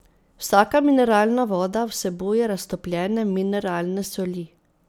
Vsaka mineralna voda vsebuje raztopljene mineralne soli.